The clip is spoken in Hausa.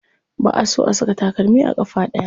Ba a so a saka takalmi a ƙafa ɗaya.